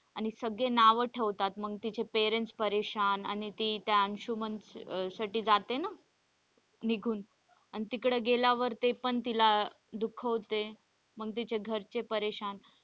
आणि सगळे नाव ठेवतात मग तिचे parents परेशान आणि ती त्या अंशुमन साठी जाते ना. निघून आणि तिकडे गेल्यावर ते पण तिला दुखावते मग तिचे घरचे परेशान.